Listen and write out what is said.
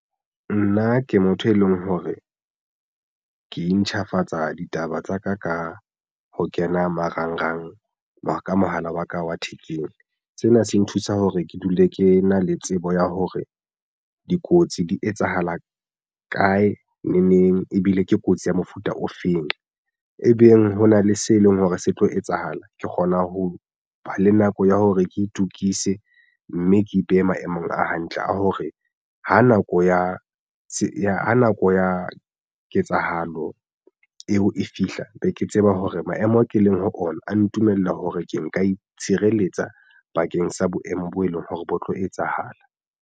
Nna ke motho e leng hore ke intjhafatsa ditaba tsa ka ka ho kena marangrang ka mohala wa ka wa thekeng. Sena se nthusa hore ke dule ke na le tsebo ya hore dikotsi di etsahala kae neng neng ebile ke kotsi ya mofuta ofeng ebeng hona le se leng hore se tlo etsahala ke kgona ho ba le nako ya hore ke itukise mme ke ipeha maemong a hantle a hore ha nako ya nako ya ketsahalo eo e fihla be ke tseba hore maemo ao ke leng ho ona a ntumelle hore ke nka itshireletsa bakeng sa boemo bo e leng hore bo tlo etsahala.